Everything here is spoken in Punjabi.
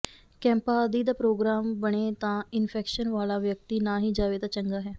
ਕੈਂਪਾਂ ਆਦਿ ਦਾ ਪ੍ਰੋਗਰਾਮ ਬਣੇ ਤਾਂ ਇਨਫੈਕਸ਼ਨ ਵਾਲਾ ਵਿਅਕਤੀ ਨਾ ਹੀ ਜਾਵੇ ਤਾਂ ਚੰਗਾ ਹੈ